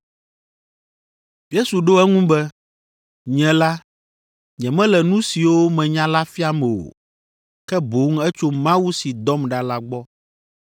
Yesu ɖo eŋu be, “Nye la, nyemele nu siwo menya la fiam o, ke boŋ etso Mawu si dɔm ɖa la gbɔ.